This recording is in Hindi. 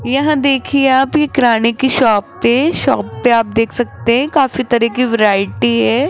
यह देखिए आप ये किराने की शॉप पे शॉप पे आप देख सकते हैं काफी तरह के वैरायटी है।